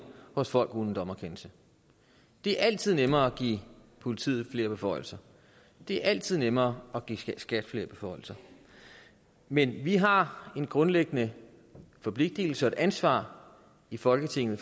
hos folk uden dommerkendelse det er altid nemmere at give politiet flere beføjelser det er altid nemmere at give skat flere beføjelser men vi har en grundlæggende forpligtelse og et ansvar i folketinget